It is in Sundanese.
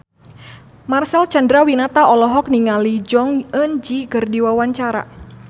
Marcel Chandrawinata olohok ningali Jong Eun Ji keur diwawancara